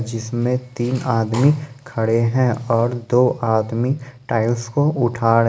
जिसमें तीन आदमी खड़े हैं और दो आदमी टाइल्स को उठा--